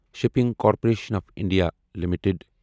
shipping corporation of India limited